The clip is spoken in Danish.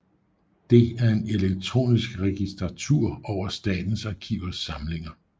Det er en elektronisk registratur over Statens Arkivers samlinger